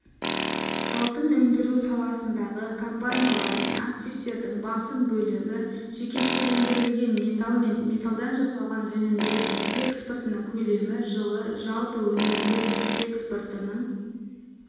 алтын өндіру саласындағы компаниялар мен активтердің басым бөлігі жекешелендірілген металл мен металдан жасалған өнімдер экспортының көлемі жылы жалпы өнімдер экспортының